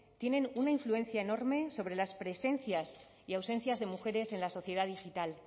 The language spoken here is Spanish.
tienen una influencia enorme sobre las presencias y ausencias de mujeres en la sociedad digital